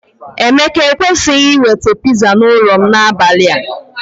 Emeka ekwesịghị iweta pizza n'ụlọ m n'abalị a.